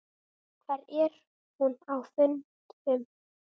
Hvar er hún á fundum?